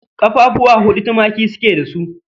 Ƙafafuwa huɗu tumaki su ke da su